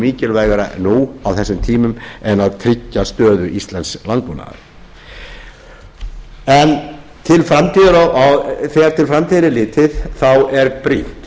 mikilvægara nú á þessum tímum en að tryggja stöðu íslensks landbúnaðar þegar til framtíðar er litið er brýnt